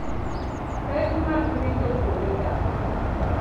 Pek mag rito kuonde dak.